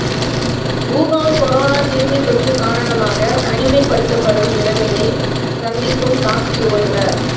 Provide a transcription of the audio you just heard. Wuhan corona கிருமித்தொற்று காரணமாக தனிமைப்படுத்தப்படும் நிலைமையைச் சந்திக்கும் டாக்சி ஓட்டுநர்